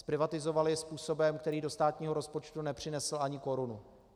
Zprivatizoval ji způsobem, který do státního rozpočtu nepřinesl ani korunu.